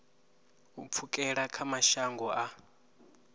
u pfukela kha mashango a